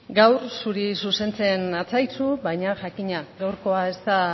gaur zuri zuzentzen natzaizu baina jakina gaurkoa ez da